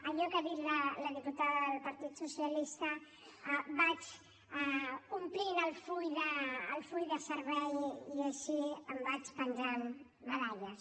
allò que ha dit la diputada del partit socialista vaig omplint el full de serveis i així em vaig penjant medalles